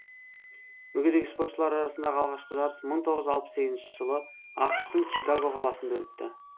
мүгедек спортшылар арасындағы алғашқы жарыс мың тоғыз жүз алпыс сегіз жылы ақш тың чикаго қаласында өтті